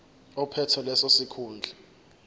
ophethe leso sikhundla